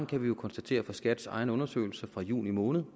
kan vi jo konstatere fra skats egne undersøgelser fra juni måned